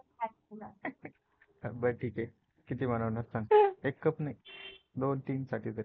बर ठीक हे. किती बनवणार सांग? एक Cup नाही दोन-तीन साठी तरी.